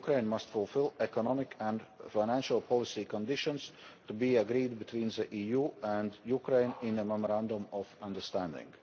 must fulfil economic and financial policy conditions to be agreed between the EU and Ukraine in a memorandum of understanding.